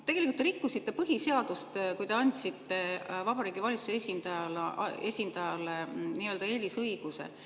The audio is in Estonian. Tegelikult te rikkusite põhiseadust, kui te andsite Vabariigi Valitsuse esindajale nii-öelda eelisõiguse.